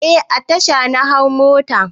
Eh a tasha na hau mota.